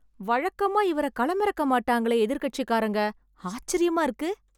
வழக்கமா இவர களமிறக்க மாட்டாங்களே எதிர்க்கட்சிகாரங்க, ஆச்சிரியமா இருக்கு